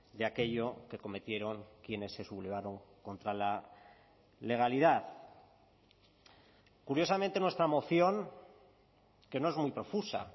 de aquello que cometieron quienes se sublevaron contra la legalidad curiosamente nuestra moción que no es muy profusa